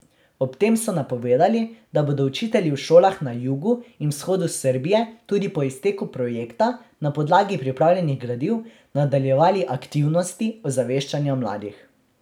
Ob tem so napovedali, da bodo učitelji v šolah na jugu in vzhodu Srbije tudi po izteku projekta na podlagi pripravljenih gradiv nadaljevali aktivnosti ozaveščanja mladih.